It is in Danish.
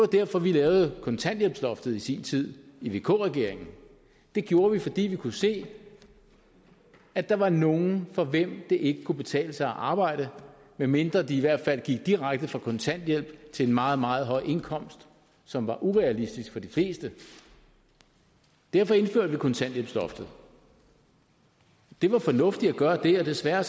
derfor vi lavede kontanthjælpsloftet i sin tid i vk regeringen det gjorde vi fordi vi kunne se at der var nogle for hvem det ikke kunne betale sig at arbejde medmindre de i hvert fald gik direkte fra kontanthjælp til en meget meget høj indkomst som var urealistisk for de fleste derfor indførte vi kontanthjælpsloftet det var fornuftigt at gøre det og desværre